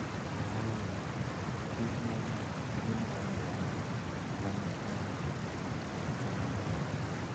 Ooyo, kich mana gi maua ma nigi rangi ma lombo wang'.